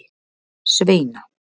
Sveina